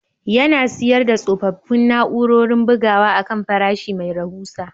Yana siyar da tsofaffin na'urorin bugawa akan farashi mai rahusa